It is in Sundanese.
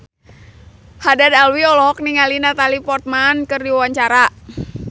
Haddad Alwi olohok ningali Natalie Portman keur diwawancara